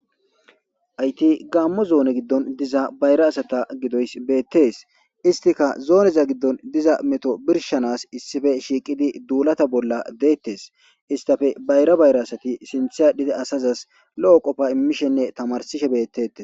Hayti gaammo zoone giddon diza bayra asata gidoys beettes istika zooneza giddon diza meto birshanas issife shiiqidi duulata bolla deettes istafe bayra bayra asati sinthe adhide asazas lo7o qofa immishenne tamarsishe beettetes.